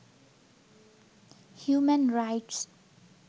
human rights